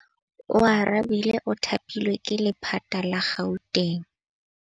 Oarabile o thapilwe ke lephata la Gauteng.